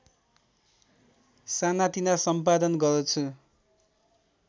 सानातिना सम्पादन गर्छु